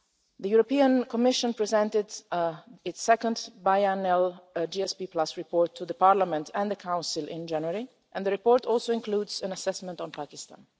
The European Commission presented its second biannual GSP report to Parliament and the Council in January and the report also includes an assessment on Pakistan.